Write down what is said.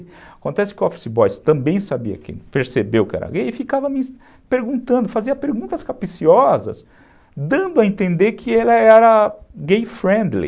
Acontece que o office boy também sabia, percebeu que era gay e ficava me perguntando, fazia perguntas capiciosas, dando a entender que ele era gay-friendly.